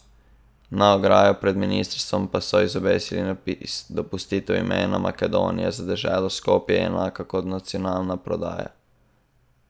Na ograjo pred ministrstvom pa so izobesili napis: "Dopustitev imena Makedonija za deželo Skopje je enako kot nacionalna prodaja".